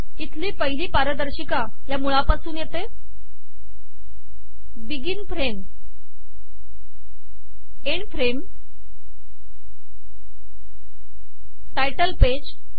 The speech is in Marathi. इथली पहिली पारदर्शिका या मूळापासून येते begin frame end frame title page